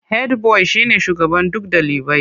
Hedbuwai shine shugaban duk dalibai.